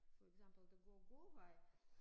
For eksempel den gode gåvej